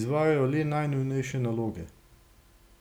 izvajajo le najnujnejše naloge.